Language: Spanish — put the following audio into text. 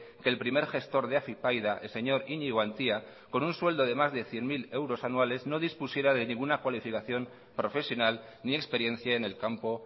que el primer gestor de afypaida el señor iñigo antía con un sueldo de más de cien mil euros anuales no dispusiera de ninguna cualificación profesional ni experiencia en el campo